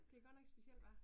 Det godt nok speciel, hva?